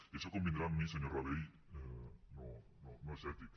i això convindrà amb mi senyor rabell no és ètic